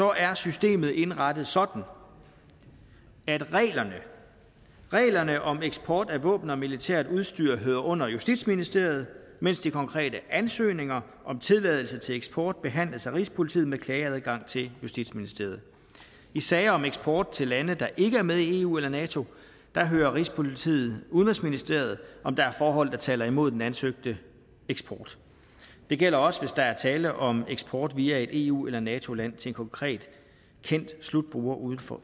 er systemet indrettet sådan at reglerne om eksport af våben og militært udstyr hører under justitsministeriet mens de konkrete ansøgninger om tilladelse til eksport behandles af rigspolitiet med klageadgang til justitsministeriet i sager om eksport til lande der ikke er med i eu eller nato hører rigspolitiet udenrigsministeriet om der er forhold der taler imod den ansøgte eksport det gælder også hvis der er tale om eksport via et eu eller nato land til en konkret kendt slutbruger uden for